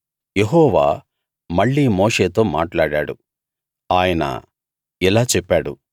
యెహోవా మళ్ళీ మోషేతో మాట్లాడాడు ఆయన ఇలా చెప్పాడు